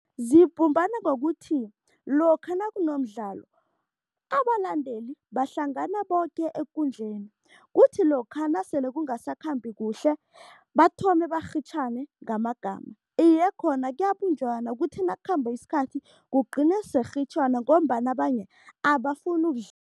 Zibumbana ngokuthi lokha nakunomdlalo, abalandeli bahlangana boke ekundleni, kuthi lokha nasele kungasakhambi kuhle, bathome barhitjhane ngamagama. Iye, khona kuyabunjwana kuthi nakukhamba isikhathi kugcine sekurhitjhwana ngombana abanye abafuni